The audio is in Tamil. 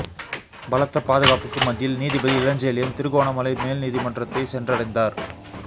பலத்த பாதுகாப்புக்கு மத்தியில் நீதிபதி இளஞ்செழியன் திருகோணமலை மேல் நீதிமன்றத்தை சென்றடைந்தார்